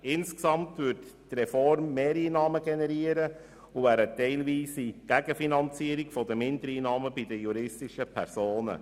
Insgesamt würde die Reform Mehreinnahmen generieren, und sie führte zu einer teilweise Gegenfinanzierung der Mindereinnahmen bei den juristischen Personen.